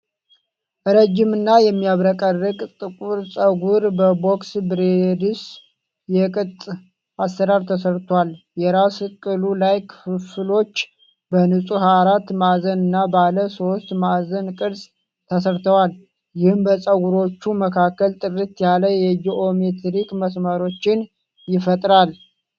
ረዥም እና የሚያብረቀርቅ ጥቁር ፀጉር በ'ቦክስ ብሬድስ' የቅጥ አሰራር ተሰርቷል። የራስ ቅሉ ላይ ክፍፍሎቹ በንጹህ አራት ማዕዘን እና ባለ ሦስት ማዕዘን ቅርፅ ተሰርተዋል፤ ይህም በፀጉሮቹ መካከል ጥርት ያለ የጂኦሜትሪክ መስመሮችን ይፈጥራል።